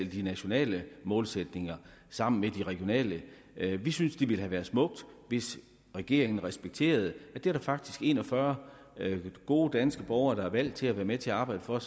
de nationale målsætninger sammen med de regionale vi synes det ville have været smukt hvis regeringen respekterede at der faktisk er en og fyrre gode danske borgere der er valgt til at være med til at arbejde for